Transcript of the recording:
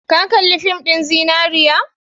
Ka kalli fin ɗin zinariya?